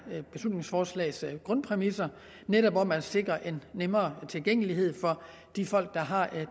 beslutningsforslags grundpræmisser netop om at sikre en nemmere tilgængelighed for de folk der har